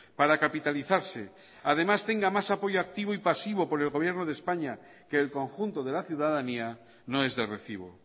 para capitalizarse además tenga más apoyo activo y pasivo por el gobierno de españa que el conjunto de la ciudadanía no es de recibo